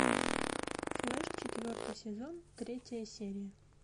флэш четвертый сезон третья серия